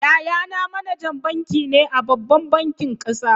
Yayana manajan banki ne a babban bankin kasa.